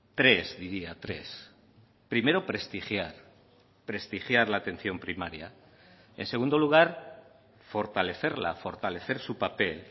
tres diría tres primero prestigiar prestigiar la atención primaria en segundo lugar fortalecerla fortalecer su papel